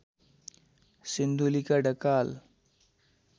सिन्धुलीका Dhakal